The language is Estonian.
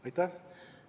Aitäh!